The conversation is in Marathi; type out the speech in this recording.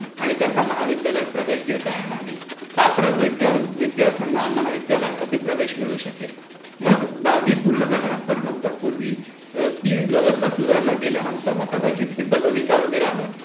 हे त्यांना महाविद्यालयात प्रवेश देता येणार नाही. पात्र विद्यार्थ्यांना महाविद्यालयांमध्ये प्रवेश मिळू शकेल. मग दहावी पूर्ण झाल्यानंतर ती व्यवस्था सुधारल्यानंतर मग कदाचित ती पदविका वगैरे आल्या.